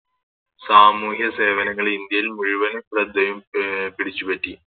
സാമൂഹ്യ സേവനങ്ങള് ഇന്ത്യയിൽ മുഴുവൻ ശ്രെദ്ധേയം അഹ് പിടിച്ചു പറ്റി